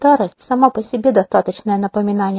старость сама по себе достаточное напоминание